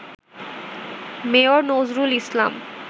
mayor Nazrul Islam